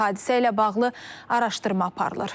Hadisə ilə bağlı araşdırma aparılır.